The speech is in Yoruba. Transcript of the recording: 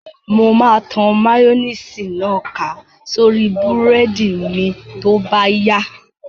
Mo máa tan máyóníìsì náà ká sórí búrẹ́dì mi tó bá yá